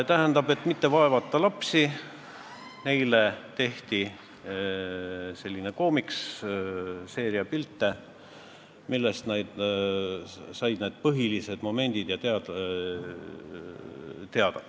Tähendab, et mitte lapsi vaevata, tehti neile selline koomiks, seeria pilte, millest nad said põhilised momendid teada.